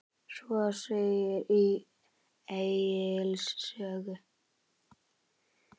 Svo segir í Egils sögu